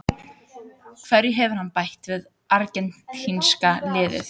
Hverju hefur hann bætt við argentínska liðið?